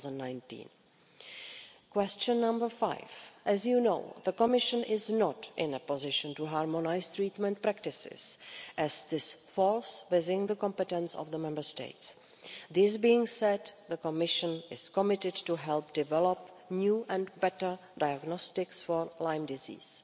2019. Question five as you know, the Commission is not in a position to harmonise treatment practices as this falls within the competence of the Member States. This being said, the Commission is committed to help develop new and better diagnostics for Lyme disease.